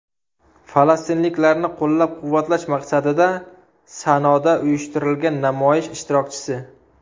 Falastinliklarni qo‘llab-quvvatlash maqsadida Sanoda uyushtirilgan namoyish ishtirokchisi.